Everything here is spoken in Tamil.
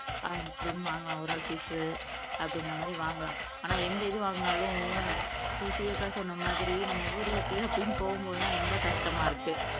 அஹ் அப்படியும் வாங்கலாம் ஒரு ஆள் ஃபிஷ் அப்படிங்கிற மாறி வாங்கலாம் ஆனா எந்த இது வாங்கினாலும் சுசியக்கா சொன்ன மாதிரி நம்ம ஊர ன்னு போகும் போது தான் ரொம்ப கஷ்டமா இருக்கு